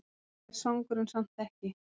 Er svangur en samt ekki!